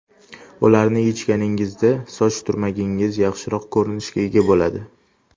Ularni yechganingizda soch turmagingiz yaxshiroq ko‘rinishga ega bo‘ladi.